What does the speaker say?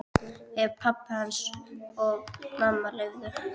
Ef pabbi hans og mamma leyfðu.